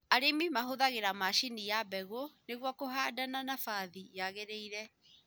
Arĩmĩ mahũthagĩra macini ya mbegũ nĩgũo kũhanda na nabathi yagĩgĩrĩrire.